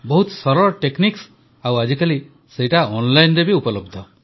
ବହୁତ ସରଳ ଟେକନିକ୍ସ ଆଉ ଆଜିକାଲି ସେଇଟା ଅନଲାଇନରେ ମଧ୍ୟ ଉପଲବ୍ଧ